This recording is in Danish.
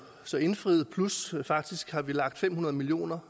så indfriet plus at vi faktisk har lagt fem hundrede millioner